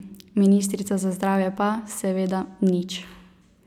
Ministrica za zdravje pa, seveda, nič.